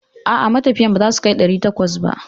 A'a, matafiyan ba za su kai ɗari takwas ba.